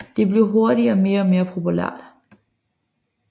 Det blev hurtigt mere og mere populært